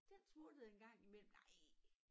Den smuttede en gang i mellem nej